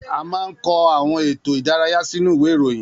A máa ń kọ àwọn ètò ìdárayá sínú ìwé ìròyìn